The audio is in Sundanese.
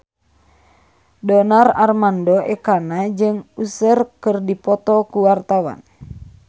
Donar Armando Ekana jeung Usher keur dipoto ku wartawan